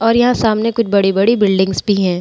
और यहाँ सामने कुछ बड़ी-बड़ी बिल्डिंग्स भी हैं ।